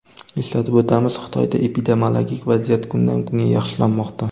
Eslatib o‘tamiz, Xitoyda epidemiologik vaziyat kundan-kunga yaxshilanmoqda.